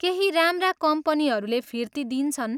केही राम्रा कम्पनीहरूले फिर्ती दिन्छन्।